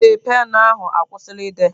Ee, penụ ahụ akwụsịla ide.